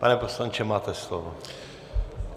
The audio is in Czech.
Pane poslanče, máte slovo.